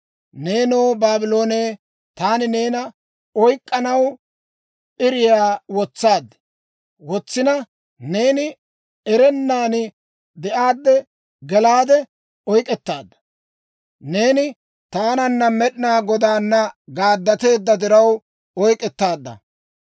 Neenoo, Baabloone, taani neena oyk'k'anaw p'iriyaa wotsaad; neeni erennan de'aadde gelaade oyk'k'ettaadda. Neeni taananna, Med'inaa Godaana gaaddateedda diraw oyk'k'ettaadda.